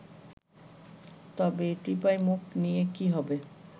তবে টিপাইমুখ নিয়ে কী হবে